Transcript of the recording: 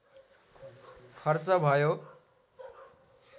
खर्च भयो